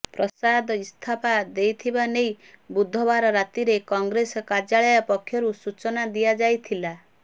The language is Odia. ପ୍ରସାଦ ଇସ୍ତଫା ଦେଇଥିବା ନେଇ ବୁଧବାର ରାତିରେ କଂଗ୍ରେସ କାର୍ଯ୍ୟାଳୟ ପକ୍ଷରୁ ସୂଚନା ଦିଆଯାଇଥିଲା